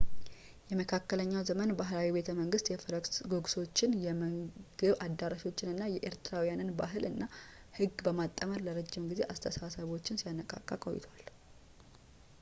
የመካከለኛው ዘመን ባህላዊ ቤተመንግስት የፈረስ ጉግሶችን የምግብ አዳራሾችን እና የኤርትራውያንን ባህል እና ህግ በማጣመር ለረጅም ጊዜ አስተሳሰቦችን ሲያነቃቃ ቆይቷል